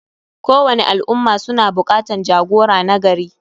Kowani al ummah suna bukatan jagora nagari.